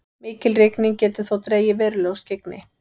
mikil rigning getur þó dregið verulega úr skyggni